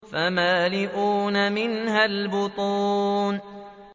فَمَالِئُونَ مِنْهَا الْبُطُونَ